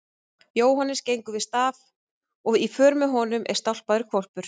Jóhannes gengur við staf og í för með honum er stálpaður hvolpur.